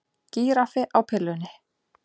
Gíraffi á pillunni